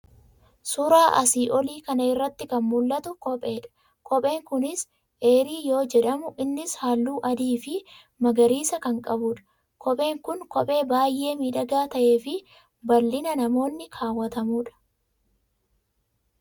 Suura asii olii kana irratti kan mul'atu kopheedha. Kopheen kunis AIR yoo jedhamu innis halluu Adii fi magariisa kan qabudha. kopheen kun kophee baay'ee miidhagaa ta'ee fi bal'inaa namoonni kaawwatamudha.